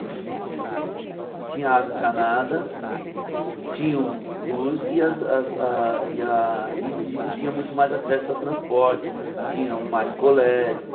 Tinha água encanada, tinham luz e as as a e a e e tinha muito mais acesso a transporte, tinham mais colégios.